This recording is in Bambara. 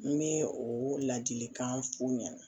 N bɛ o ladilikan f'u ɲɛna